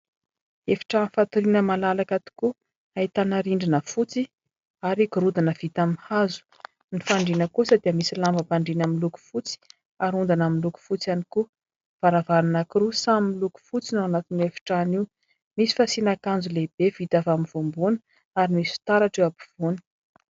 Efitrano fatoriana malalaka tokoa. Ahitana rindrina fotsy ary gorodona vita amin'ny hazo, ny fandriana kosa dia misy lambam-pandriana miloko fotsy ary ondana miloko fotsy ihany koa. Varavarana anankiroa samy miloko fotsy no ao anatin'io efitrano io. Misy fasiana akanjo lehibe vita avy amin'ny voambohana ary misy fitaratra eo ampovoany.